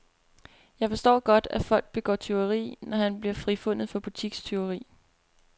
Jeg forstår godt, at folk begår tyveri, når han bliver frifundet for butikstyveri.